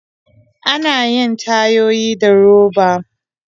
Ana yin tayoyi da roba.